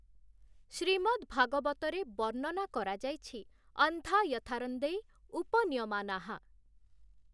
ଶ୍ରୀମଦ୍‌ ଭାଗବତରେ ବର୍ଣ୍ଣନା କରାଯାଇଛି "ଅନ୍ଧା ୟଥାର୍ନ୍ଧୈ ଉପନିୟମାନାଃ" ।